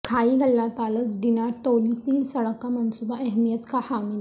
کھائی گلہ تا لس ڈنہ تولی پیر سڑک کا منصوبہ اہمیت کا حامل